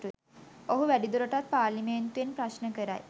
ඔහු වැඩිදුරටත් පාර්ලිමේන්තුවෙන් ප්‍රශ්න කරයි